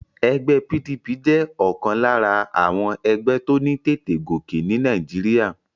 Egbé PDP jé òkan lára àwon egbé tó ní tètè gòkè ní Naíjiria